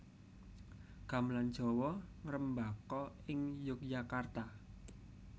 Gamelan Jawa ngrembaka ing Yogyakarta